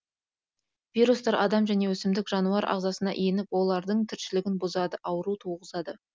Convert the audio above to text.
вирустар адам және өсімдік жануар ағзасына еніп олардың тіршілігін бұзады ауру туғызады